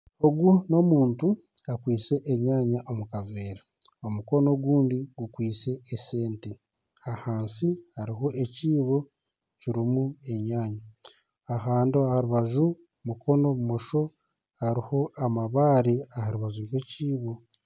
Ogu n'omuntu akwitse enyanya omu kaveera, omukono ogundi gukwitse esente ahansi hariho ekiibo kirimu enyanya ahandi aha rubaju mukono bumosho hariho amabare aha rubaju rw'ekiibo